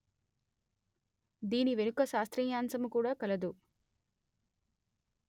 దీని వెనుక శాస్త్రీయాంశము కూడా కలదు